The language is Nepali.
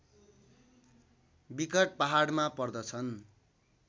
विकट पहाडमा पर्दछन्